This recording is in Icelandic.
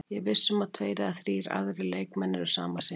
Ég er viss um að tveir eða þrír aðrir leikmenn eru sama sinnis.